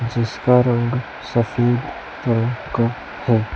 जिसका रंग सफेद रंग का है